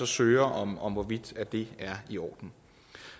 søger om om hvorvidt det er i orden